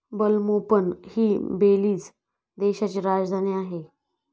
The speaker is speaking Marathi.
बेल्मोपण हि बेलीझ देशाची राजधानी आहे.